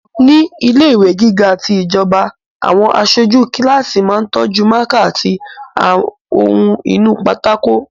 Ní ilẹ̀ ìwé gíga ti ìjọba, àwọn aṣojú kíláàsì máa tọ́jú mákà àti ohun inú pátákó